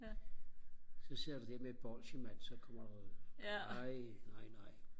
så sidder du der med et bolje mand så kommer der nej nej nej